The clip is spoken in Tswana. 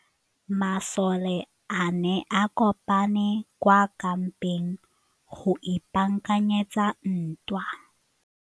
Masole a ne a kopane kwa kampeng go ipaakanyetsa ntwa.